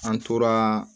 An tora